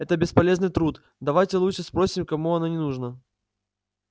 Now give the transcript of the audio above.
это бесполезный труд давайте лучше спросим кому оно не нужно